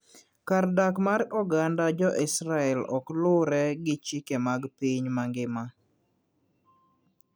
Kar dak mar oganda jo Israel ok luwre gi chike mag piny mangima.